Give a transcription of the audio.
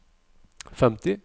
femti